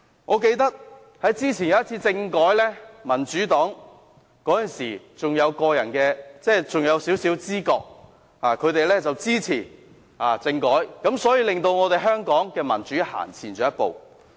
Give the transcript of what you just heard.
"我記得之前有一次政改，民主黨那時還有少許知覺，支持政改，令香港的民主向前走了一步。